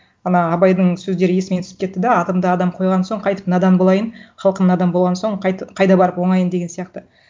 ана абайдың сөздері есіме түсіп кетті да атымды адам қойған соң қайтіп надан болайын халқым надан болған соң қайда барып оңайын деген сияқты